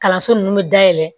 Kalanso nunnu be dayɛlɛ